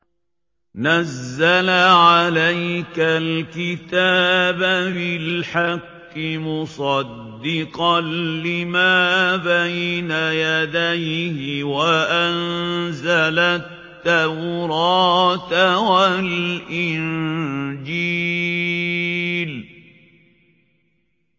نَزَّلَ عَلَيْكَ الْكِتَابَ بِالْحَقِّ مُصَدِّقًا لِّمَا بَيْنَ يَدَيْهِ وَأَنزَلَ التَّوْرَاةَ وَالْإِنجِيلَ